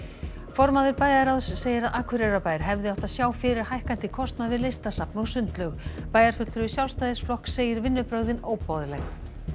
formaður bæjarráðs segir að Akureyrarbær hefði átt að sjá fyrir hækkandi kostnað við Listasafn og sundlaug bæjarfulltrúi Sjálfstæðisflokks segir vinnubrögðin óboðleg